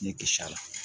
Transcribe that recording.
Ne kis'a la